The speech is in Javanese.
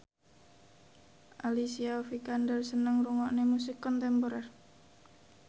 Alicia Vikander seneng ngrungokne musik kontemporer